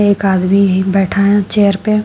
एक आदमी बैठा है चेयर पे--